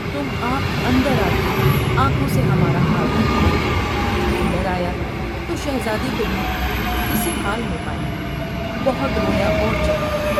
تم آپ اندر آ کے آنکھوں سے ہمارا حال دیکھ لو '' اندر آیا تو شہزادی کو بھی اس حال میں پایا ، بہت رویا اور چلا یا ۔